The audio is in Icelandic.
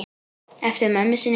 Eftir mömmu sinni.